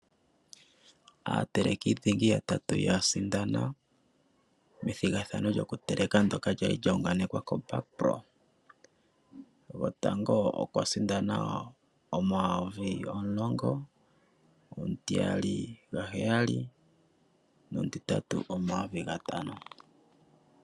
Aateleki dhingi ya tatu ya sindana me thigathano lyo kuteleka lyoka kwali lya u nganekwa koBakpro. Go tango okwa sindana N$10000, omutiyali N$7000, no mu titatu N$5000.